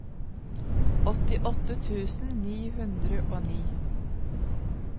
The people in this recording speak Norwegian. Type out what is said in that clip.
åttiåtte tusen ni hundre og ni